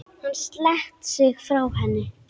Hann sleit sig frá henni.